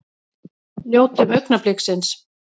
Njótum augnabliksins!